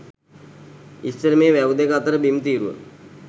ඉස්සර මේ වැව් දෙක අතර බිම් තීරුව